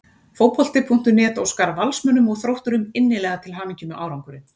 Fótbolti.net óskar Valsmönnum og Þrótturum innilega til hamingju með árangurinn.